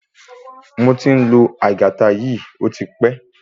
Moti n lo aigaita yìí ọtí pẹ